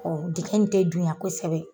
Ɔ dingɛ in tɛ duɲan kosɛbɛ.